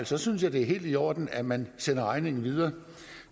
så synes jeg det er helt i orden at man sender regningen videre